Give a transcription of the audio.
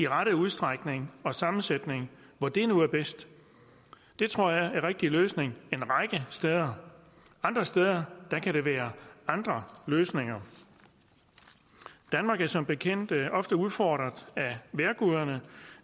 rette udstrækning og sammensætning hvor det nu er bedst det tror jeg er en rigtig løsning en række steder andre steder kan det være andre løsninger danmark er som bekendt ofte udfordret af vejrguderne